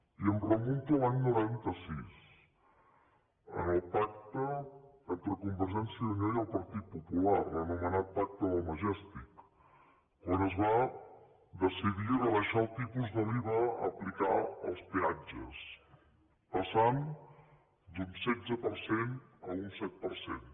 i em remunto a l’any noranta sis en el pacte entre convergència i unió i el partit popular l’anomenat pacte del majestic quan es va decidir rebaixar el tipus de l’iva a aplicar als peatges passant d’un setze per cent a un set per cent